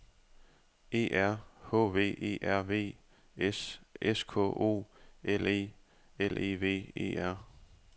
E R H V E R V S S K O L E L E V E R